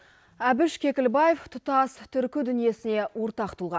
әбіш кекілбаев тұтас түркі дүниесіне ортақ тұлға